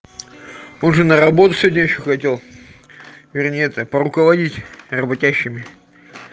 позже на работу сегодня ещё ходил вернее это поруководить работящими